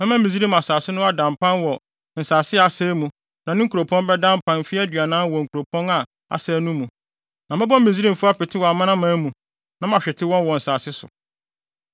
Mɛma Misraim asase no ada mpan wɔ nsase a asɛe mu na ne nkuropɔn bɛda mpan mfe aduanan wɔ wɔn nkuropɔn a asɛe no mu. Na mɛbɔ Misraimfo apete wɔ amanaman mu, na mahwete wɔn wɔ nsase so.